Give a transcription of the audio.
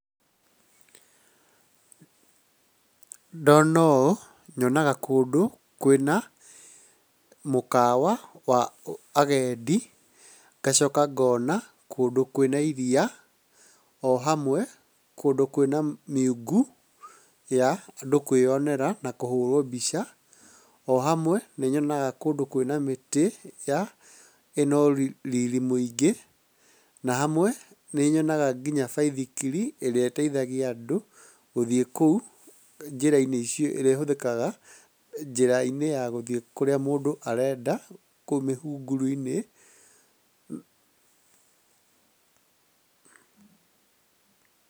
Ndona ũũ nyonaga kũndũ kwĩna mũkawa wa agenda, ngacoka ngona kũndũ kwĩna iria, o hamwe kũndũ kwĩna mĩungu ya andũ kwĩyonera na kũhũra mbica. O hamwe nĩ nyonaga kũndũ kwĩna mĩtĩ ĩna riri mũingĩ, na hamwe nĩ nyonaga ngĩnya baithikiri ĩrĩa ĩteithagia andũ gũthiĩ kũu njĩra-inĩ icio iria ihũthĩkaga njĩra-inĩ ya gũthiĩ kũrĩa mũndũ arenda kũu mĩhunguru-inĩ.